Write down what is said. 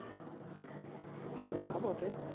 হ্যাঁ তা বটে